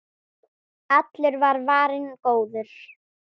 Allur var varinn góður.